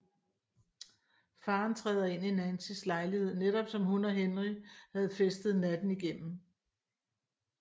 Faren træder ind i Nancys lejlighed netop som hun og Henry havde festet natten igennem